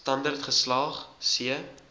standerd geslaag c